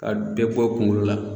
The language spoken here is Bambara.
Ka bɛɛ bɔ kunkolo la